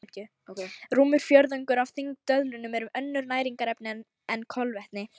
Rúmur fjórðungur af þyngd döðlunnar eru önnur næringarefni en kolvetni.